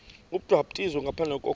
ubhaptizo ngaphandle kokholo